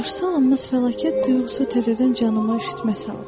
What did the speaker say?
Qarşısıalınmaz fəlakət duyğusu təzədən canıma üşütmə saldı.